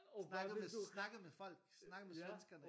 Snakkede med snakkede med folk snakkede med svenskerne ja